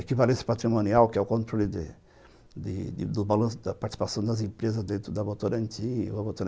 equivalência patrimonial, que é o controle de de do balanço da participação das empresas dentro da Votorantim.